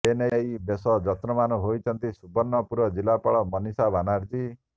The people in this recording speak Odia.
ଏନେଇ ବେଶ ଯତ୍ନବାନ ହୋଇଛନ୍ତି ସୁବର୍ଣ୍ଣପୁର ଜିଲ୍ଲାପାଳ ମନୀଷା ବାନାର୍ଜି